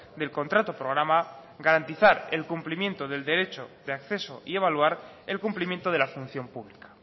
del contrato programa garantizar el cumplimiento del derecho de acceso y evaluar el cumplimiento de la función pública